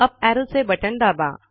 up ऍरोचे बटण दाबा